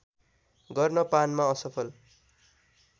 गर्न पानमा असफल